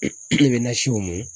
E bɛ na si o mun.